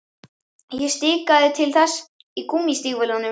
Ég stikaði til hans í gúmmístígvélunum.